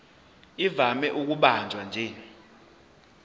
ivame ukubanjwa nje